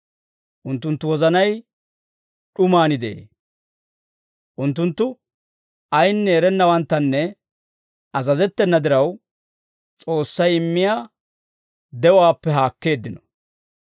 Unttunttu wozanay d'umaan de'ee; unttunttu ayinne erennawanttanne azazettena diraw, S'oossay immiyaa de'uwaappe haakkeeddino.